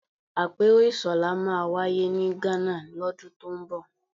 Àpérò ISOLA máa wáyé ní Ghana lọ́dún tó ń bọ̀